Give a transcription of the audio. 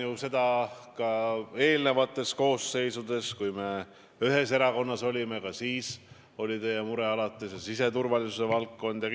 Mäletan ju eelnevaid koosseise, kui me ühes erakonnas olime, ka siis oli teil alati mure siseturvalisuse valdkonna pärast.